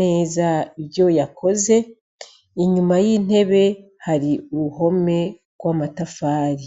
neza ivyo yakoze. Inyuma y'intebe hari uruhome rw'amatafari.